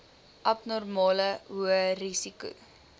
abnormale hoë risiko